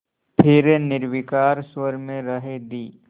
फिर निर्विकार स्वर में राय दी